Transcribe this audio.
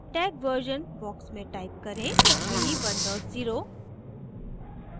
tag version box में type करें v10